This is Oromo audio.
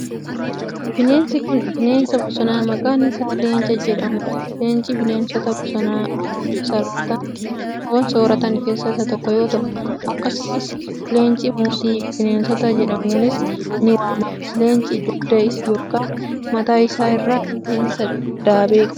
Bineensi kun, bineensa bosonaa maqaan isaa leenca jedhamuu dha. Leenci bineensota bosonaa foon sooratan keessaa isa tokko yoo ta'u ,akkasumas leencii mootii bineensotaa jedhamuunis ni waamama. Leenci dugda yokin mataa isaa irraa rifeensa daabee qaba.